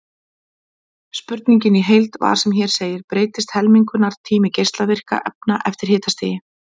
Spurningin í heild var sem hér segir: Breytist helmingunartími geislavirkra efna eftir hitastigi?